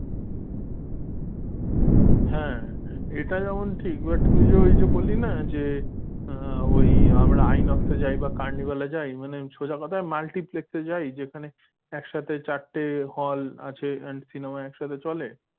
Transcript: হ্যাঁ এটা যেমন ঠিক but তুই যে ওই যে বললি না যে ওই আমরা আইনক্সে যাই বা কার্নিভালে যাই মানে সোজা কথা multiplex এ যায় যেখানে একসাথে চারটি hall আছে আর and cinema একসাথে চলে।